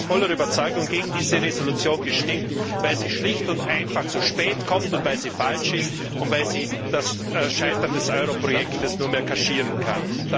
Ich habe aus voller Überzeugung gegen diese Entschließung gestimmt, weil sie schlicht und einfach zu spät kommt, weil sie falsch ist und weil sie das Scheitern des Euro Projekts nur mehr kaschieren kann.